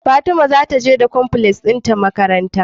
Fatima zata je da cornflakes din ta makaranta